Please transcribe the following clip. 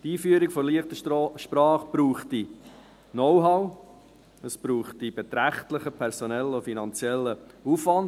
Für die Einführung der «leichten Sprache» bedürfte es Know-how, es bedürfte beträchtlichen personellen und finanziellen Aufwands.